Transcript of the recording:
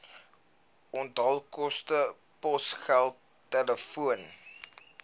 onthaalkoste posgeld telefoon